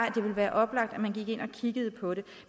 være oplagt at man gik ind og kiggede på det